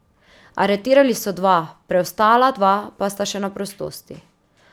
Aretirali so dva, preostala dva pa sta še na prostosti.